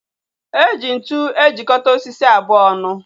Eji ntụ ejikota osisi abụọ ọnụ